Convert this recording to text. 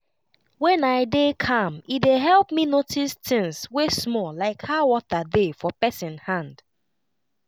when i dey calm e dey help me notice things wey small like how water dey for pesin hand.